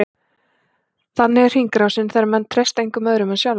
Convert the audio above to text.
Þannig er hringrásin, þegar menn treysta engum öðrum en sjálfum sér.